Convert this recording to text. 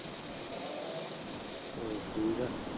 ਹੋਰ ਠੀਕ ਆ।